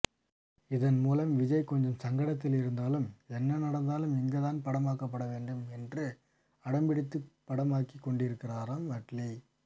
இதன் மூலம் விஜய் கொஞ்சம் சங்கடத்தில் இருந்தாலும் என்ன நடந்தாலும் இங்குதான் படமாக்கப்படவேண்டும் என்று அடம்பிடித்துப்படமாக்கிக்கொண்டிருக்கிறாராம் அட்லீ